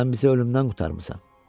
Sən bizi ölümdən qurtarmısan.